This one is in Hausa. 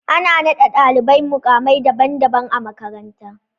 Ana naɗa ɗalibai muƙa mai daban daban a makaranta